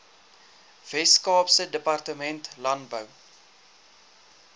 weskaapse departement landbou